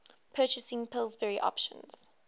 purchasing pillsbury options